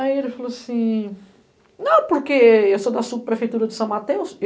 Aí ele falou assim, não, porque eu sou da subprefeitura de São Mateus.